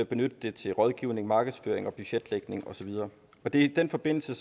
benytte det til rådgivning markedsføring budgetlægning og så videre i den forbindelse